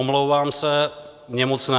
Omlouvám se, mně moc ne.